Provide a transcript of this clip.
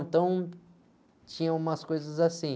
Então, tinha umas coisas assim.